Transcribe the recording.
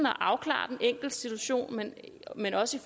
at afklare den enkeltes situation men men også